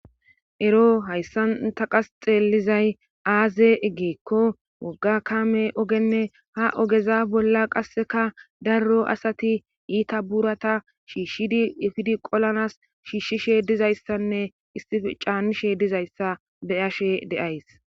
ero hayssanta qasxeelizay aaze eggeekko wogga kame ogenne ha ogeza bolla qasseka darro asati iita buurata shiishshiefidi qolanas shiishshishe dizayssanne issi caanishe dizayssa beyashe deays